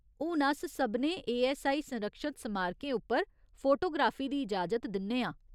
हून अस सभनें एऐस्सआई संरक्षत समारकें उप्पर फोटोग्राफी दी इजाजत दिन्ने आं।